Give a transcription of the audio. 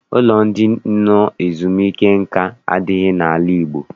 Ụlọ ndị nọ ezumike nka adịghị n'ala Igbo.